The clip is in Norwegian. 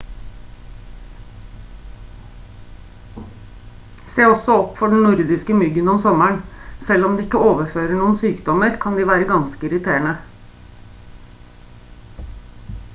se også opp for den nordiske myggen om sommeren selv om de ikke overfører noen sykdommer kan de være ganske irriterende